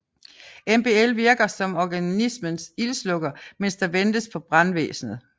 MBL virker som organismens ildslukker mens der ventes på brandvæsnet